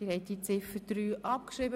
Sie haben Ziffer 3 abgeschrieben.